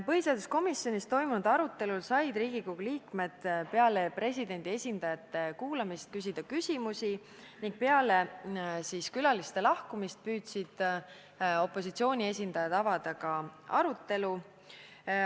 Põhiseaduskomisjonis toimunud arutelul said Riigikogu liikmed peale presidendi esindajate ärakuulamist küsida küsimusi ning peale külaliste lahkumist püüdsid opositsiooni esindajad avada arutelu.